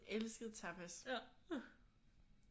Elsket tapas